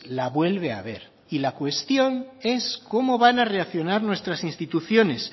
la vuelve a haber y la cuestión es cómo van a reaccionar nuestras instituciones